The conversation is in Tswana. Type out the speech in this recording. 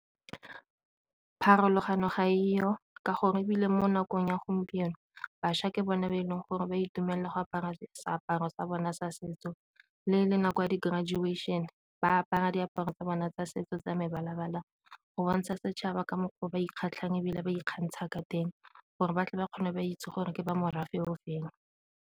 Pharologano ga diyo ka gore ebile mo nakong ya gompieno bašwa ke bone ba e leng gore ba itumelela go apara seaparo sa bona sa setso le le nako ya di-graduation ba apara diaparo tsa bona tsa setso tsa mebala-bala go bontsha setšhaba ka mokgwa o ba dikgatlhegelong ebile ba ikgantsha ka teng gore batle ba kgone ba itse gore ke ba morafe ofeng.